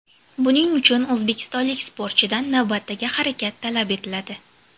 Buning uchun o‘zbekistonlik sportchidan navbatdagi harakat talab etiladi.